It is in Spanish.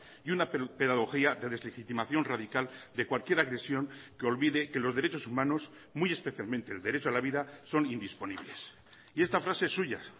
y una pedagogía de deslegitimación radical de cualquier agresión que olvide que los derechos humanos muy especialmente el derecho a la vida son indisponibles y esta frase es suya